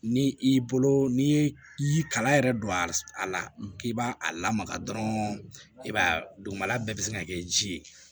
Ni i bolo n'i ye i kalan yɛrɛ don a la k'i b'a a lamaga dɔrɔn i b'a ye dugumala bɛɛ bɛ se ka kɛ ji ye